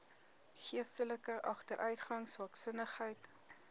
geestelike agteruitgang swaksinnigheid